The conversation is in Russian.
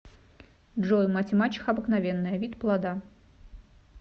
джой мать и мачеха обыкновенная вид плода